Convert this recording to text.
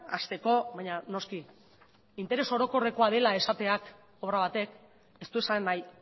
hasteko baina noski interes orokorrekoa dela esateak obra batek ez du esan nahi